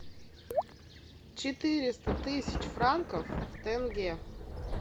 четыреста тысяч франков в тенге